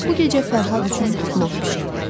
Bu gecə Fərhad üçün plov bişirdi.